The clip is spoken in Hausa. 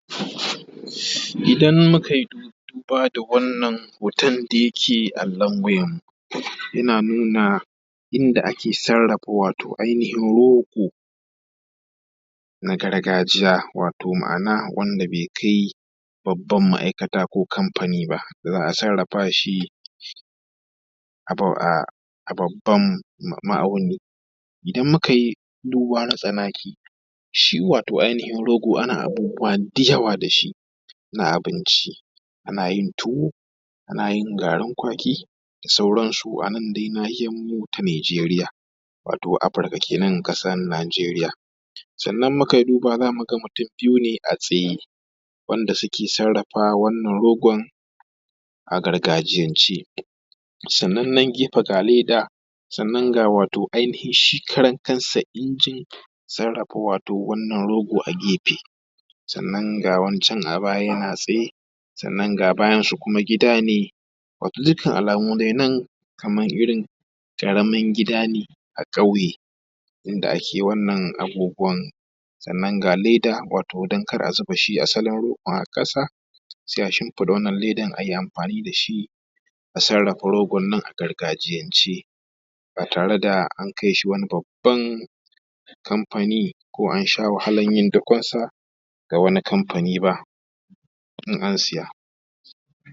idan mukayi duba da wannan hoton da yake allon wayar mu yana nuna wato yanda ake sarrafa wato ainihin rogo na gargajiya wato ma’ana wanda bai kai babban ma’aikata ba ko kamfani ba da za a sarrafa shi a babban ma’auni idan mukayi duba na tsanaki shi wato ainihin rogo ana abubuwa da yawa da shi na abinci ana yin tuwo ana yin garin kwaki da sauran su anan dai nahiyar mu ta nijeriya wato afrika kenan ƙasar nijeriya sannan mukayi duba zamu ga mutum biyu ne a tsaya wanda suke sarrafa wannan rogon a gargajiyan ce sannan nan gefe ga leda sannan ga wato ainihin shi karan kansa injin sarrafa wato wannan rogo a gefe sannan ga wani can a baya yana tsaye sannan ga bayan shi kuma gida ne da dukkan alamu dai nan kaman irin ƙaramin gida a ƙauye inda ake wannan abubuwan sannan ga leda wato don kada a zuba shi asalin rogon a ƙasa sai a shimfiɗa wannan ledar ayi amfani dashi a sarrafa rogon nan a gargajiyance ba tare da an kai shi wani babban kamfani ko ansha wahalan yin dakon sa ga wani kamfani ba in an siya